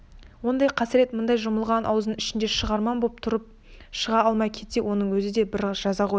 ондай қасірет мынау жұмылған ауыздың ішінде шығарман боп тұрып шыға алмай кетсе оның өзі де бір жаза ғой